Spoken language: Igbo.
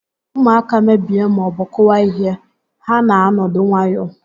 Ụmụaka mebie maọbụ kụwaa ihe, ha na-anọdụ nwayọọ